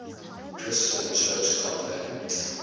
christian church convened